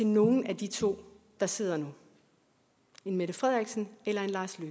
nogen af de to der sidder nu en mette frederiksen eller en lars